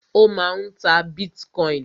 Ó máà ń ta bitcoin.